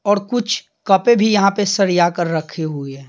और कुछ कपें भी यहां पे सरिया कर रखी हुए हैं।